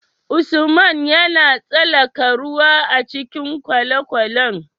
Usman yAna tsalaka ruwa a cikin kwale kwalen?